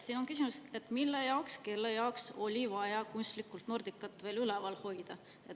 Siin on küsimus, et mille jaoks, kelle jaoks oli vaja kunstlikult Nordicat veel üleval hoida.